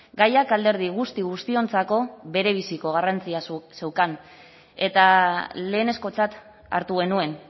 gaiak alderdi guzti guztiontzako berebiziko garrantzia zeukan eta lehenezkotzat hartu genuen